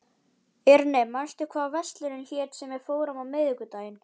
Irene, manstu hvað verslunin hét sem við fórum í á miðvikudaginn?